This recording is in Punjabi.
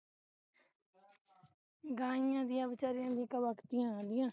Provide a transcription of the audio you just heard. ਗਾਈਆਂ ਦੀਆਂ ਵਿਚਾਰੀਆਂ ਦੀਆਂ ਇਕ ਵਕਤ ਹੀ ਆਉਂਦੀਆਂ